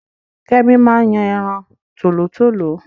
Kẹ́mi máa ń yan ẹran tòlótòló